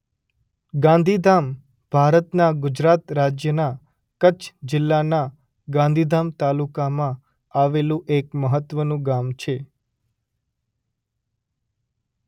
ગાંધીધામ ભારતના ગુજરાત રાજ્યના કચ્છ જિલ્લાના ગાંધીધામ તાલુકામાં આવેલું એક મહત્વનું ગામ છે.